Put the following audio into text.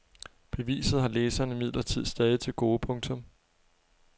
Beviset har læserne imidlertid stadig til gode. punktum